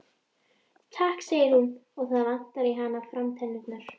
Takk segir hún og það vantar í hana framtennurnar.